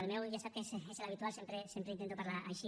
el meu ja sap que és l’habitual sempre intento parlar així